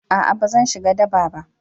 a'a ba zan shiga daba ba